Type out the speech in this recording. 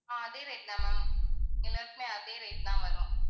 ஆஹ் அதே rate தான் ma'am எல்லாருக்குமே அதே rate தான் வரும்.